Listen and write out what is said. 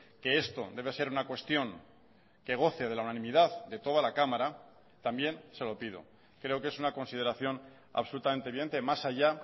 que esto debe ser una cuestión que goce de la unanimidad de toda la cámara también se lo pido creo que es una consideración absolutamente evidente más allá